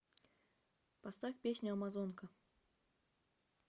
поставь песня амазонка